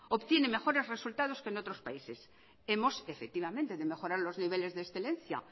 obtiene mejores resultados que en otros países hemos efectivamente de mejorar los niveles de excelencia